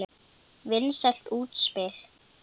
Vinsælt útspil.